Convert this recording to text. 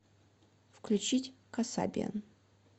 включить касабиан